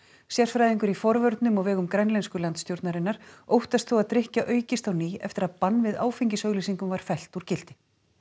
sérfræðingur í forvörnum á vegum grænlensku landsstjórnarinnar óttast þó að drykkja aukist á ný eftir að bann við áfengisauglýsingum var fellt úr gildi